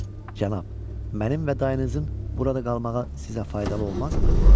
Cənab, mənim və dayınızın burada qalmağa sizə faydalı olmazmı?